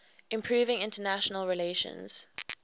improving international relations